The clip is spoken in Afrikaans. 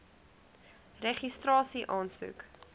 registrasieaansoek